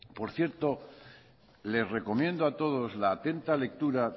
por cierto les recomiendo a todos la atenta lectura